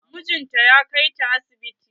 Mijin ta ya kai ya ta asibiti.